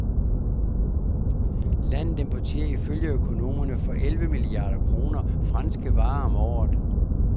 Landet importerer ifølge økonomerne for elleve milliarder kroner franske varer om året.